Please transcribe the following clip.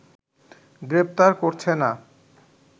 গ্রেফতার করছে না